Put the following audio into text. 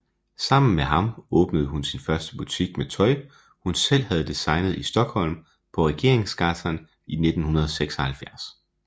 Sammen med ham åbnede hun sin første butik med tøj hun selv havde designet i Stockholm på Regeringsgatan i 1976